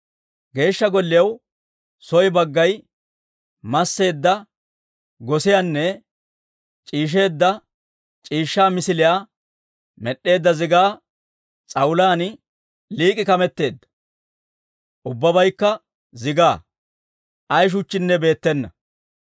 Geeshsha Golliyaw soo baggay masseedda gosiyaanne c'iishsheedda c'iishshaa misiliyaa med'd'eedda zigaa s'awulaan lik'i kameteedda; ubbabaykka zigaa; ay shuchchinne beettena.